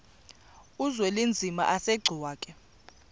uzwelinzima asegcuwa ke